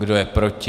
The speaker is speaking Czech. Kdo je proti?